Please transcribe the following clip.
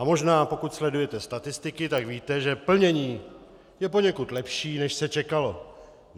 A možná pokud sledujete statistiky, tak víte, že plnění je poněkud lepší, než se čekalo.